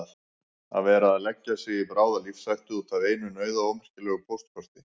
Að vera að leggja sig í bráða lífshættu út af einu nauðaómerkilegu póstkorti!